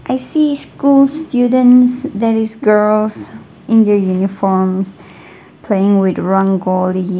i see school students there is girls in their uniforms playing with .